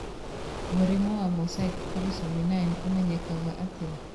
Mũrimũ wa mosaic trisomy 9 ũmenyekaga atĩa?